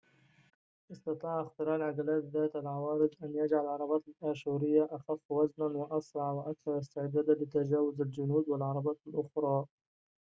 استطاع اختراع العجلات ذات العوارض أن يجعل العربات الآشورية أخفّ وزناً وأسرع وأكثر استعداداً لتجاوُز الجنود والعربات الأخرى